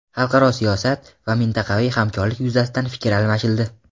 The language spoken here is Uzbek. Xalqaro siyosat va mintaqaviy hamkorlik yuzasidan fikr almashildi.